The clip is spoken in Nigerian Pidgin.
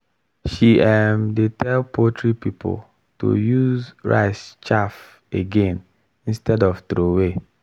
she um dey tell poultry people to use rice chaff again instead of throway.